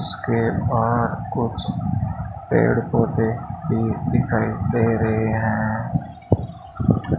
इसके बाहर कुछ पेड़ पौधे भी दिखाई दे रहे हैं।